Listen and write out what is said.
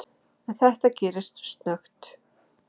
En þetta gerðist snöggt.